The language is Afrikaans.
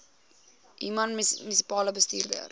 human munisipale bestuurder